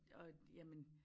Og jamen